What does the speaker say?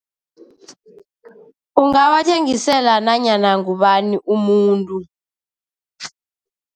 Ungawathengisela nanyana ngubani umuntu.